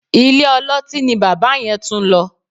Ilé-ọlọ́tí ni bàbá yẹn tún lọ